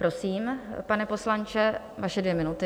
Prosím, pane poslanče, vaše dvě minuty.